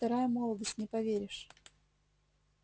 вторая молодость не поверишь